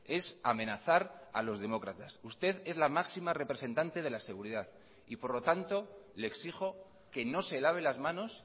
es amenazar a los demócratas usted es la máxima representante de la seguridad y por lo tanto le exijo que no se lave las manos